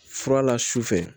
Fura la su fɛ